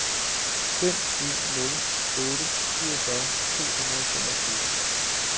fem en nul otte syvogfyrre to hundrede og femogtyve